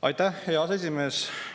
Aitäh, hea aseesimees!